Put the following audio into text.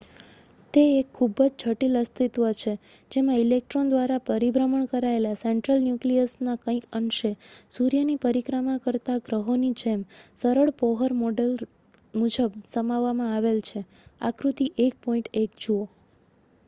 તે એક ખૂબ જ જટિલ અસ્તિત્વ છે જેમાં ઇલેક્ટ્રોન દ્વારા પરિભ્રમણ કરાયેલા સેન્ટ્રલ ન્યુક્લિયસના કંઈક અંશે સૂર્યની પરિક્રમા કરતા ગ્રહોની જેમ સરળ બોહર મોડેલ મુજબ સમાવવામાં આવેલ છે આકૃતિ 1.1 જુઓ